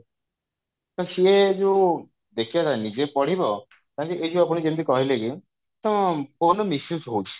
ତ ସିଏ ଯଉ ନିଜେ ପଢିବ ନା କି ଏଇ ଯଉ ଆପଣ ଯେମିତି ତମ phone ର misuse ହଉଛି